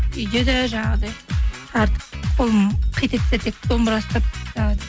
үйде де жаңағыдай артып қолым қит етсе тек домбыра ұстап